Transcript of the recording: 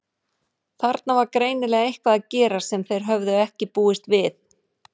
Þarna var greinilega eitthvað að gerast sem þeir höfðu ekki búist við.